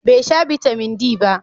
Bai sha Bitamin D ba.